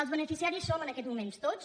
els beneficiaris som en aquests moments tots